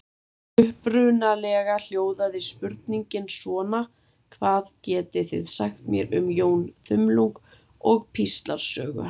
Upprunalega hljóðaði spurningin svona: Hvað getið þið sagt mér um Jón þumlung og píslarsögu hans?